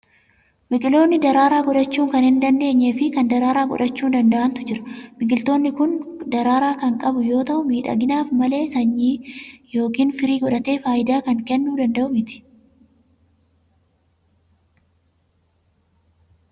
Biqiltoonni daraaraa godhachuu kan hin dandeenyee fi kan daraaraa godhachuu danda'antu jiru. Biqiltuun kun daraaraa kan qabu yoo ta'u, miidhaginaaf malee sanyii yooiin firii godhatee faayidaa kan kennuu danda'u miti.